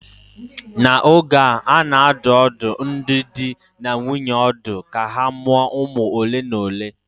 N'oge a, a na-adụ ọdụ ndị di na nwunye ọdụ ka ha mụọ ụmụ ole na ole